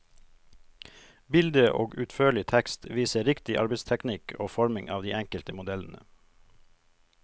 Bilde og utførlig tekst viser riktig arbeidsteknikk og forming av de enkelte modellene.